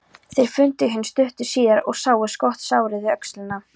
Þeir fundu hinn stuttu síðar og sáu skotsárið við öxlina.